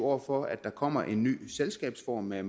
over for at der kommer en ny selskabsform med